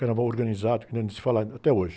Carnaval organizado, que nem se fala até hoje.